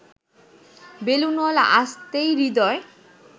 বেলুনওয়ালা আসতেই হৃদয়